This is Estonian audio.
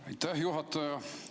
Aitäh, juhataja!